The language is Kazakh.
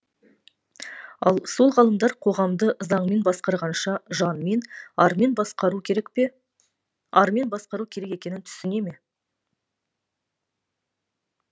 ал сол ғалымдар қоғамды заңмен басқарғанша жанмен армен басқару керек екенін түсіне ме